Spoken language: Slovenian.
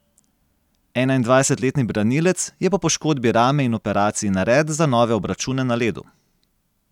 Enaindvajsetletni branilec je po poškodbi rame in operaciji nared za nove obračune na ledu.